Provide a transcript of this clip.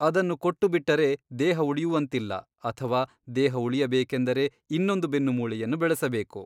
ಅದನ್ನು ಕೊಟ್ಟುಬಿಟ್ಟರೆ ದೇಹವುಳಿಯುವಂತಿಲ್ಲ ಅಥವಾ ದೇಹವುಳಿಯಬೇಕೆಂದರೆ ಇನ್ನೊಂದು ಬೆನ್ನುಮೂಳೆಯನ್ನು ಬೆಳೆಸಬೇಕು.